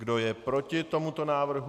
Kdo je proti tomuto návrhu?